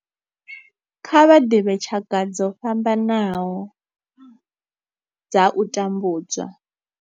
Kha vha ḓivhe tshaka dzo fhambanaho dza u tambudzwa.